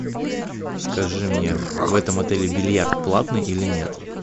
скажи мне в этом отеле бильярд платный или нет